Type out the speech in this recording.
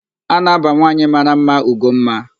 A na-aba nwanwaanyị mara mma Ugomma.